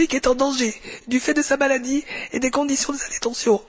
Ben Brik est en danger, du fait de sa maladie et des conditions de sa détention.